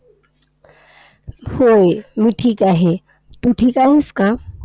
होय, मी ठीक आहे. तू ठीक आहेस का?